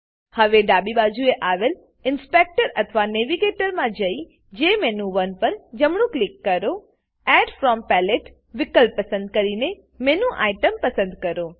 હવે ડાબી બાજુએ આવેલ ઇન્સ્પેક્ટર ઇન્સપેક્ટર અથવા નેવિગેટર નેવીગેટર માં જેએમઇનું1 પર જમણું ક્લિક કરો એડ ફ્રોમ પેલેટ વિકલ્પ પસંદ કરીને મેનું આઇટીઇએમ મેનુ આઇટમ પસંદ કરો